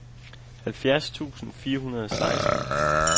halvfjerds tusind fire hundrede og seksten